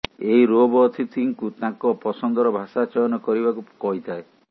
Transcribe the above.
ଏହି ରୋବ ଅତିଥିଙ୍କୁ ତାଙ୍କ ପସନ୍ଦର ଭାଷା ଚୟନ କରିବାକୁ କହିଥାଏ